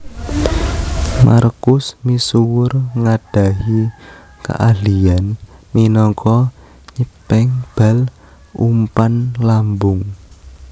Markus misuwur ngadahi kaahlian minangka nyepeng bal umpan lambung